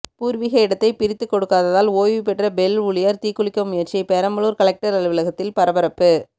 பூர்வீக இடத்தை பிரித்து கொடுக்காததால் ஓய்வு பெற்ற பெல் ஊழியர் தீக்குளிக்க முயற்சி பெரம்பலூர் கலெக்டர் அலுவலகத்தில் பரபரப்பு